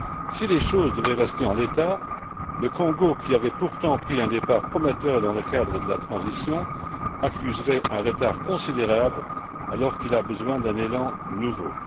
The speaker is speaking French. Si les choses devaient rester en l'état, le Congo, qui avait pourtant pris un départ prometteur dans le cadre de la transition, accuserait un retard considérable alors qu'il a besoin d'un élan nouveau.